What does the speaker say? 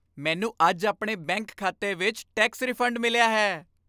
ਮੈਨੂੰ ਅੱਜ ਆਪਣੇ ਬੈਂਕ ਖਾਤੇ ਵਿੱਚ ਟੈਕਸ ਰੀਫੰਡ ਮਿਲਿਆ ਹੈ।